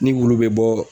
Ni wulu bɛ bɔ